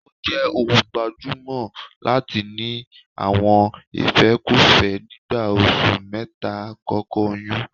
Ó jẹ́ ohun tó gbajúmọ̀ láti ní àwọn ìfẹ́kúfẹ́ nígbà oṣù mẹ́ta àkọ́kọ́ oyún